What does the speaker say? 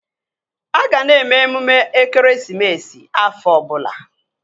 A ga na-eme emume ekeresimesi afọ ọbụla